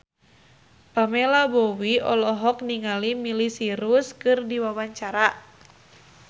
Pamela Bowie olohok ningali Miley Cyrus keur diwawancara